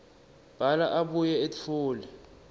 bhala abuye etfule